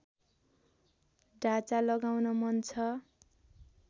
ढाँचा लगाउन मन छ